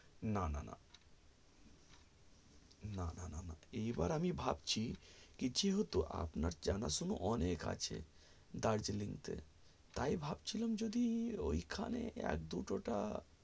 না না না না এবার আমি ভাবছি সেহেতু আপনার জানা শোনা অনেক আছে দার্জিলিং তে তাই ভাবছি লাম যদি ঐখানে এক দুটো টা